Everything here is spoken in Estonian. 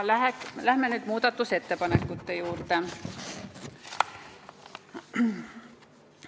Läheme nüüd muudatusettepanekute juurde.